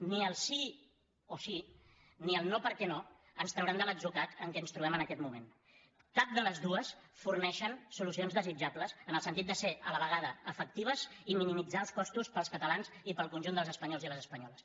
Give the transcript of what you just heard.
ni el sí o sí ni el no perquè no ens trauran de l’atzucac en què ens trobem en aquest moment cap de les dues forneixen solucions desitjables en el sentit de ser a la vegada efectives i minimitzar els costos per als catalans i per al conjunt dels espanyols i les espanyoles